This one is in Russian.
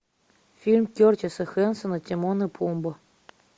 фильм кертиса хэнсона тимон и пумба